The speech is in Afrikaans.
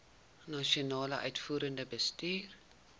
nasionale uitvoerende bestuur